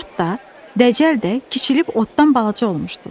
Nicat da, Dəcəl də kiçilib otdan balaca olmuşdular.